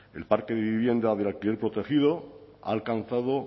el parque de vivienda del alquiler protegido ha alcanzado